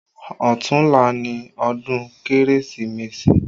Ọ̀tunla ni ọdún Kérésìmesì